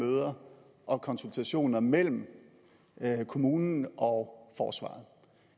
møder og konsultationer mellem kommunen og forsvaret